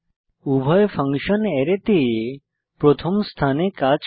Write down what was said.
উভয় ফাংশন অ্যারেতে প্রথম স্থানে কাজ করে